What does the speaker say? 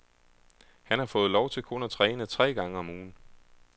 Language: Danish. Han har fået lov til kun at træne tre gange om ugen.